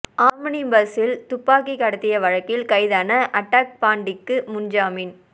omni பஸ்சில் துப்பாக்கி கடத்திய வழக்கில் கைதான அட்டாக் பாண்டிக்கு முன் ஜாமீன்